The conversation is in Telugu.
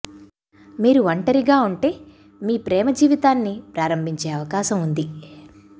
మీరు ఒంటరిగా ఉంటే మీ ప్రేమ జీవితాన్ని ప్రారంభించే అవకాశం ఉంది